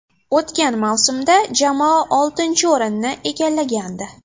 O‘tgan mavsumda jamoa oltinchi o‘rinni egallagandi.